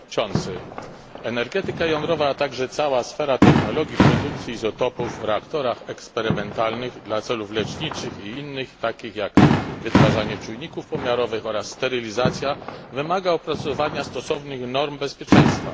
Panie Przewodniczący! Energetyka jądrowa, a także cała sfera technologii produkcji izotopów w reaktorach eksperymentalnych dla celów leczniczych i innych, takich jak wytwarzanie czujników pomiarowych oraz sterylizacja, wymaga opracowania stosownych norm bezpieczeństwa.